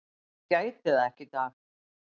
Ég gæti það ekki í dag.